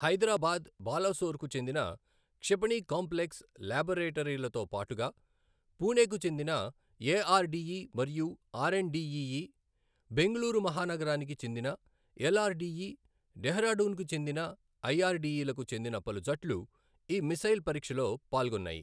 హైదరాబాద్, బాలసోర్కు చెందిన క్షిపణి కాంప్లెక్స్ లాబొరేటరీలతో పాటుగా పూణెకు చెందిన ఏఆర్డీఈ మరియు R and DE E, Bengaluru మహానగరానికి చెందిన ఎల్ఆర్డీఈ, డెహ్రాడూన్కు చెందిన ఐఆర్డీఈలకు చెందిన పలు జట్లు ఈ మిస్సైల్ పరీక్షలో పాల్గొన్నాయి.